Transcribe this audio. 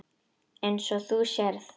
Eins og þú sérð.